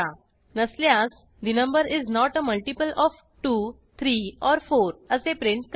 नसल्यास the number is not a multiple of 2 3 or 4 असे print करेल